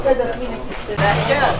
Tez gəlin çıxsınlar.